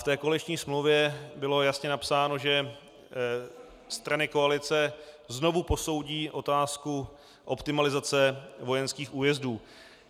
V té koaliční smlouvě bylo jasně napsáno, že strany koalice znovu posoudí otázku optimalizace vojenských újezdů.